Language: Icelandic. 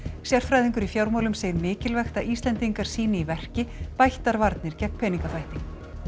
sérfræðingur í fjármálum segir mikilvægt að Íslendingar sýni í verki bættar varnir gegn peningaþvætti